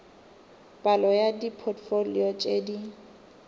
palo ya dipotfolio tše di